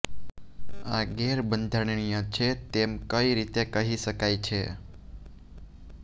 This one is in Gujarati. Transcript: આ ગેરબંધારણીય છે તેમ કઈ રીતે કહી શકાય છે